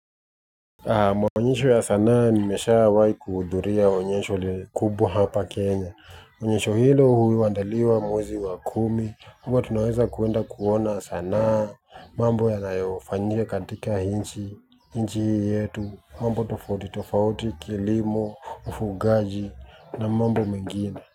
Maonyesho ya sanaa nimeshawahi kuhudhuria onyesho kubwa hapa Kenya. Onyesha hilo huandaliwa mwezi wa kumi huwa tunaweza kuenda kuona sanaa mambo yanayofanyika katika nchi, nchi hii yetu. Mambo tofauti tofauti, kilimo, ufugaji na mambo mengine.